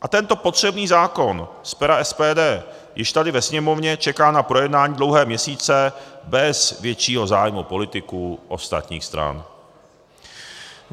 A tento potřebný zákon z pera SPD již tady ve Sněmovně čeká na projednání dlouhé měsíce bez většího zájmu politiků ostatních stran.